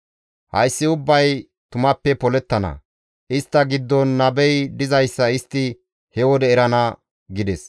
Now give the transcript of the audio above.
«Hayssi ubbay tumappe polettana; istta giddon nabey dizayssa istti he wode erana» gides.